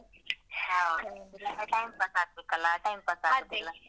ಹ ಹೌದು ಆ time pass ಆಗ್ಬೇಕಲ್ಲ time pass ಆಗ್ಬೇಕಲ್ಲ